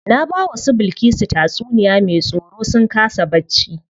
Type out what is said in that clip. Na bawa su Bilkisu tatsuniya me tsoro sun kasa bacci.